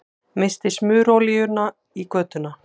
Missti smurolíuna í götuna